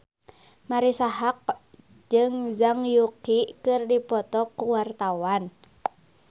Marisa Haque jeung Zhang Yuqi keur dipoto ku wartawan